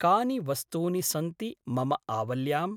कानि वस्तू्नि सन्ति मम आवल्याम्?